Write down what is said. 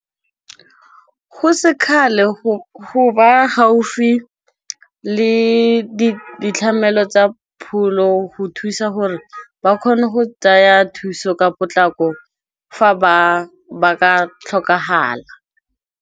Go sekgale go ba gaufi le ditlamelo tsa pholo, go thusa gore ba kgone go tsaya thuso ka potlako fa ba ka tlhokagala.